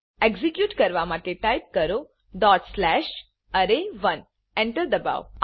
execute કરવા માટે type કરો ડોટ સ્લેશ અરે1 એન્ટર દબાવો